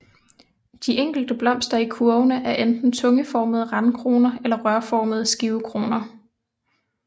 De enkelte blomster i kurvene er enten tungeformede randkroner eller rørformede skivekroner